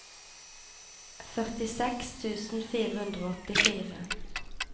førtiseks tusen fire hundre og åttifire